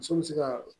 Muso bɛ se ka